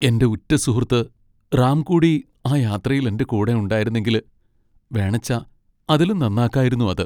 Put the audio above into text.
എന്റെ ഉറ്റസുഹൃത്ത് റാം കൂടി ആ യാത്രയിൽ എന്റെ കൂടെ ഉണ്ടായിരുന്നെങ്കിൽ! വേണച്ചാ അതിലും നന്നാക്കായിരുന്നു അത്.